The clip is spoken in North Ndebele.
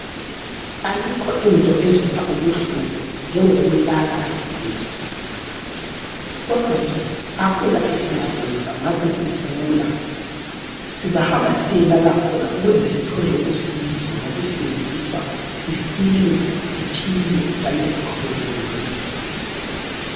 Ayikho into ezwisa ubuhlungu njengokulala esibhedlela kodwa ke akula esingakwenza masesigula sizahamba siyelala khona ukuze sithole usizo lokusindiswa sisile siphile njalo siqhubeke ngempilo.